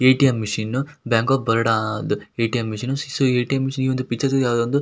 ATM. Machine bank of ಬರೋಡದ ATM. Machine . So ATM. Machine ಈ picture ಅಲ್ಲಿ ಯಾವ್ದೋ ಒಂದು--